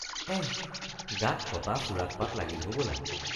এহ্‌ গাত কটা চোৰাত পাত লাগিল হবলা।